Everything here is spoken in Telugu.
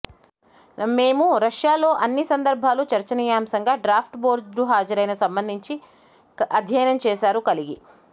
నం మేము రష్యా లో అన్ని సందర్భాలు చర్చనీయాంశంగా డ్రాఫ్ట్ బోర్డు హాజరైన సంబంధించి అధ్యయనం చేశారు కలిగి